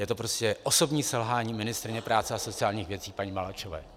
Je to prostě osobní selhání ministryně práce a sociálních věcí paní Maláčové.